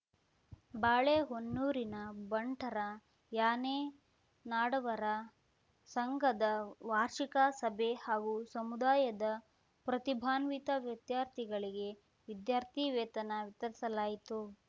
ಬಾಳೆಹೊನ್ನೂರಿನ ಬಂಟರ ಯಾನೆ ನಾಡವರ ಸಂಘದ ವಾರ್ಷಿಕ ಸಭೆ ಹಾಗೂ ಸಮುದಾಯದ ಪ್ರತಿಭಾನ್ವಿತ ವಿದ್ಯಾರ್ಥಿಗಳಿಗೆ ವಿದ್ಯಾರ್ಥಿ ವೇತನಾ ವಿತರಿಸಲಾಯಿತು